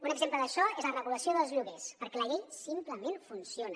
un exemple d’això és la regulació dels lloguers perquè la llei simplement funciona